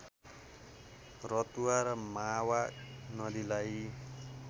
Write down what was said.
रतुवा र मावा नदीलाई